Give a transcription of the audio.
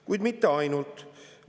Kuid mitte ainult.